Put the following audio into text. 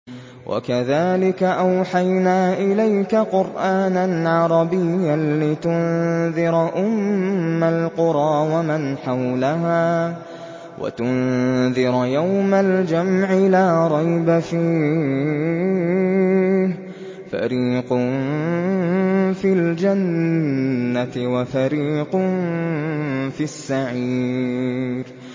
وَكَذَٰلِكَ أَوْحَيْنَا إِلَيْكَ قُرْآنًا عَرَبِيًّا لِّتُنذِرَ أُمَّ الْقُرَىٰ وَمَنْ حَوْلَهَا وَتُنذِرَ يَوْمَ الْجَمْعِ لَا رَيْبَ فِيهِ ۚ فَرِيقٌ فِي الْجَنَّةِ وَفَرِيقٌ فِي السَّعِيرِ